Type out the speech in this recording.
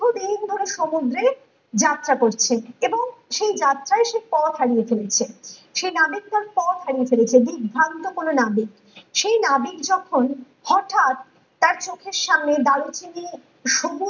সমুদ্রে যাত্রা করছে এবং সেই যাত্রায় সে পথ হারিয়ে ফেলেছে । সে নাবিক তার পথ হারিয়ে ফেলেছে বিভ্রান্ত কোনো নাবিক সেই নাবিক যখন হটাৎ তার চোখের সামনে